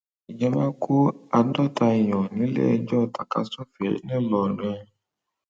ìjọba kó àádọta èèyàn níléijọ tàkasúfèé ńìlọrin